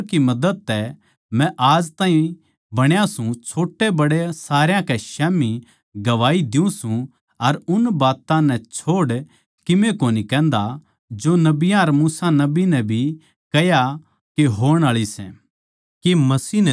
पर परमेसवर की मदद तै मै आज ताहीं बण्या सूं छोट्याबड़या सारया कै स्याम्ही गवाही द्यूँ सूं अर उन बात्तां नै छोड़ कीमे कोनी कहन्दा जो नबियाँ अर मूसा नबी नै भी कह्या के होणआळी सै